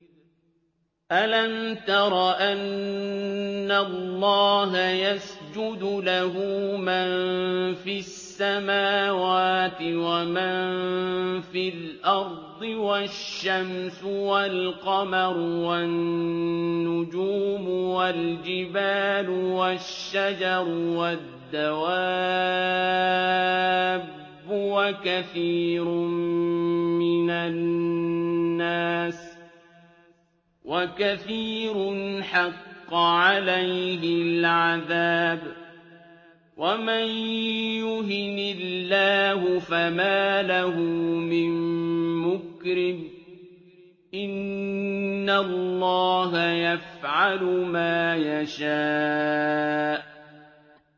أَلَمْ تَرَ أَنَّ اللَّهَ يَسْجُدُ لَهُ مَن فِي السَّمَاوَاتِ وَمَن فِي الْأَرْضِ وَالشَّمْسُ وَالْقَمَرُ وَالنُّجُومُ وَالْجِبَالُ وَالشَّجَرُ وَالدَّوَابُّ وَكَثِيرٌ مِّنَ النَّاسِ ۖ وَكَثِيرٌ حَقَّ عَلَيْهِ الْعَذَابُ ۗ وَمَن يُهِنِ اللَّهُ فَمَا لَهُ مِن مُّكْرِمٍ ۚ إِنَّ اللَّهَ يَفْعَلُ مَا يَشَاءُ ۩